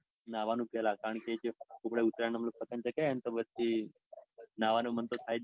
નાવનું પેલા કારણકે જે ઉત્તરાયણના પેલા પતંગ ચાગાવીએને તો પછી નવાણું મન તો થાય જ નઈ.